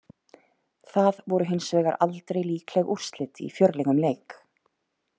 Það voru hins vegar aldrei líkleg úrslit í fjörlegum leik.